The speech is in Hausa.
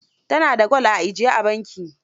Ta na da gwal a ajiye a banki.